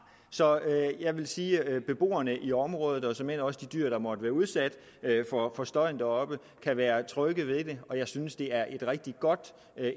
så jeg vil sige at beboerne i området og såmænd også de dyr der måtte være udsat for støjen deroppe kan være trygge ved det og jeg synes det er et rigtig godt